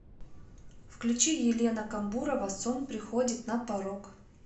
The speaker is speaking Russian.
включи елена камбурова сон приходит на порог